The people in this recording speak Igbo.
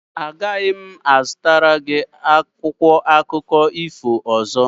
Agaghị m azụta gị akwụkwọ akụkọ ifo ọzọ.